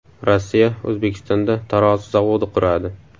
Rossiya O‘zbekistonda tarozi zavodi quradi.